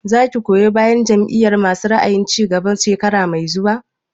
Za ki goyi bayan Jam'iyar masu ra'ayin cigaba shekara mai zuwa?